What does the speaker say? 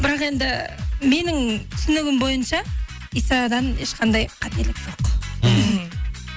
бірақ енді менің түсінігім бойынша исадан ешқандай қателік жоқ мхм